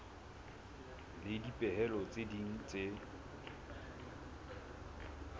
le dipehelo tse ding tse